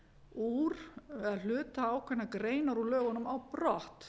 úr eða hluta ákveðinnar greinar úr lögunum á brott